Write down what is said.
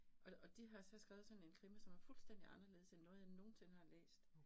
Og og de har så skrevet sådan en krimi, som er fuldstændig anderledes end noget, jeg nogensinde har læst